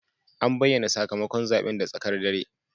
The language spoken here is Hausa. An bayyana sakamakon zaben da tsakar dare.